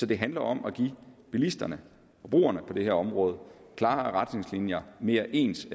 det handler om at give bilisterne forbrugerne på det her område klare retningslinjer mere ens